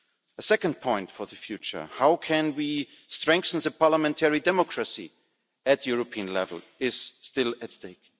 A second point for the future how can we strengthen the parliamentary democracy at European level? is still at stake.